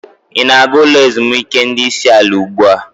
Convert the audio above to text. Ị na-aga ulo ezimuike ndi isi ala ugbu a?